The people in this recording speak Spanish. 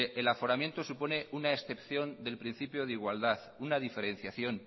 el aforamiento supone una excepción del principio de igualdad una diferenciación